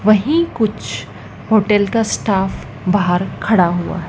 वही कुछ होटल का स्टाफ बाहर खड़ा हुआ--